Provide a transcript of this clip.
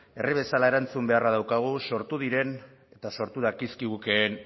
herri bezala erantzun beharra daukagu sortu diren eta sortu dakizkigukeen